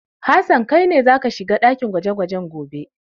Hassan kai ne za ka shiga dakin gwaje-gwaje gobe!